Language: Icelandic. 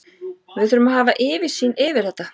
Við þurfum að hafa yfirsýn yfir þetta.